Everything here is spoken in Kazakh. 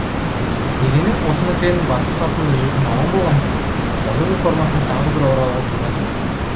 дегенмен осы мәселенің басы қасында жүрген маман болғандықтан жазу реформасына тағы да бір оралуға тура келіп отыр